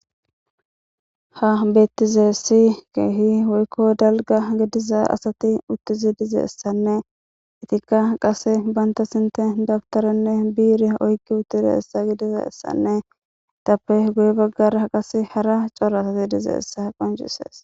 Ha betizays kehi woyko dalaga gidiza asati utidi dizaysanne etia qase bata sinthan daptaran birra oyqi otidaysa etape guye bagara cora asay dizaysa qoncises